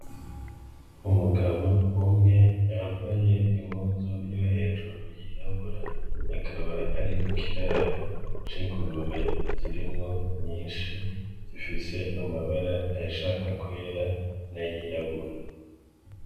Umugabo umwe yambaye impuzu yo hejuru yirabura akaba ari mukiraro k'ingurube zirimwo nyinshi zifise amabara ayashaka kwera n'ayirabura.